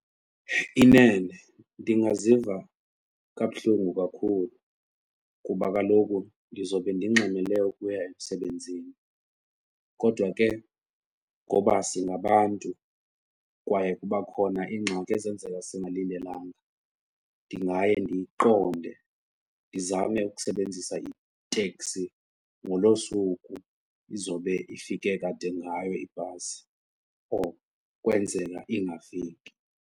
Inene ndingaziva kabuhlungu kakhulu kuba kaloku ndizobe ndingxamele ukuya emsebenzini kodwa ke ngoba singabantu kwaye kuba khona iingxaki ezenzeka singalindelanga, ndingaye ndiyiqonde ndizame ukusebenzisa iteksi ngolo suku izobe ifike kade ngayo ibhasi or kwenzela ingafiki.